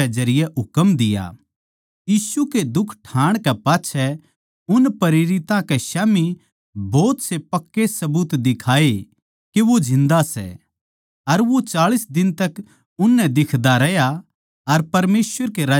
यीशु नै दुख ठाण कै पाच्छै अपणी मौत कै बाद घणे पक्के सबुतां तै अपणे आपनै उन ताहीं जिन्दा दिखाया अर चाळीस दिन ताहीं वो उननै दिखदा रहया अर परमेसवर के राज्य की बात करदा रहया